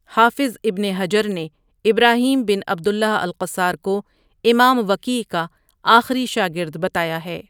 حافظ ابن حجرؒ نے ابراہیم بن عبداللہ القصار کو امام وکیعؒ کا آخری شاگرد بتایا ہے ۔